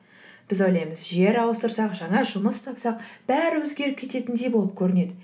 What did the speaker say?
біз ойлаймыз жер ауыстырсақ жаңа жұмыс тапсақ бәрі өзгеріп кететіндей болып көрінеді